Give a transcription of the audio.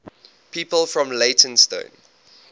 people from leytonstone